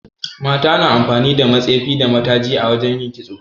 Mata na amfani da matsefi da mataji a wajan yin kitso